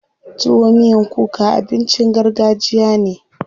Tuwo miyan kuka abincin gargajiya ne.